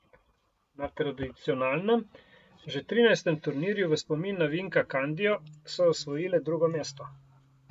Na tradicionalnem, že trinajstem turnirju v spomin na Vinka Kandijo, so osvojile drugo mesto.